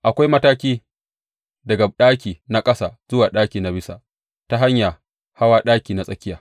Akwai mataki daga ɗaki na ƙasa zuwa ɗaki na bisa ta hanya hawa ɗaki na tsakiya.